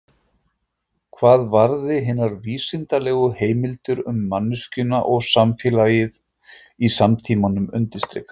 Hvað varði hinar vísindalegu heimildir um manneskjuna og samfélagið í samtímanum undirstrikar